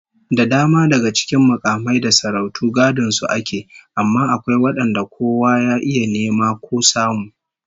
Da dama daga cikin mukamai da sarautu gadon su ake yi, amma akwai wadanda kowa ya iya nema ko samu